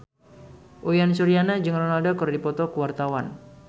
Uyan Suryana jeung Ronaldo keur dipoto ku wartawan